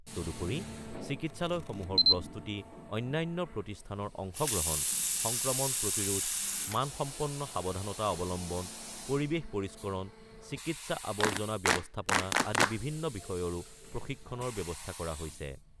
তদুপৰি চিকিৎসালয়সমূহৰ প্ৰস্তুতি, অন্যান্য প্ৰতিষ্ঠানৰ অংশগ্ৰহণ, সংক্ৰমণ প্ৰতিৰোধ, মানসম্পন্ন সাৱধানতা অৱলম্বন, পৰিবেশ পৰিস্কৰণ, চিকিৎসা আৱৰ্জনা ব্যৱস্থাপনা আদি বিভিন্ন বিষয়ৰো প্ৰশিক্ষণৰ ব্যৱস্থা কৰা হৈছে।